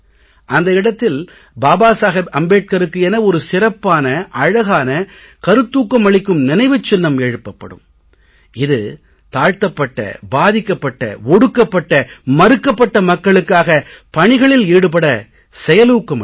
அந்த இடத்தில் பாபா சாஹேப் அம்பேட்கருக்கு என ஒரு சிறப்பான அழகான கருத்தூக்கம் அளிக்கும் நினைவுச் சின்னம் எழுப்பப்படும் இது தாழ்த்தப்பட்ட பாதிக்கப்பட்ட ஒடுக்கப்பட்ட மறுக்கப்பட்ட மக்களுக்காக பணிகளில் ஈடுபட செயலூக்கம் அளிக்கும்